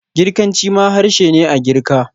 Girkanci ma harshe ne a Girka.